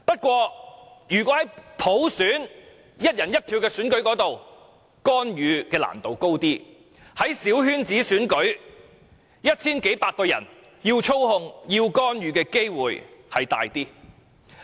然而，如果是"一人一票"的普選，要干預較難，但如果是小圈子選舉，只有一千數百名選委，要操控和干預的機會便較大。